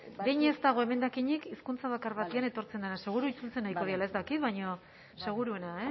behin ez dago emendakinik hizkuntza bakar batean etortzen dena seguru itzultzen ariko direla ez dakit baina seguruena